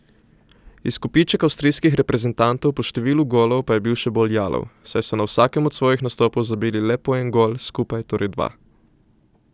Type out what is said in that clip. Izkupiček avstrijskih reprezentantov po številu golov pa je še bolj jalov, saj so na vsakem od svojih nastopov zabili le po en gol, skupaj torej dva.